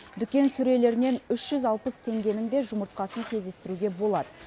дүкен сөрелерінен үш жүз алпыс теңгенің де жұмыртқасын кездестіруге болады